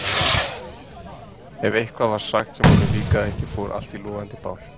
Ef eitthvað var sagt sem honum líkaði ekki fór allt í logandi bál.